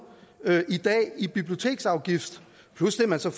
biblioteksafgift plus det man så